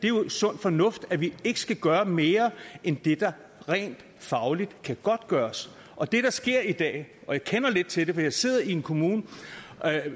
er jo sund fornuft nemlig at vi ikke skal gøre mere end det der rent fagligt kan godtgøres og det der sker i dag jeg kender lidt til det for jeg sidder i en kommune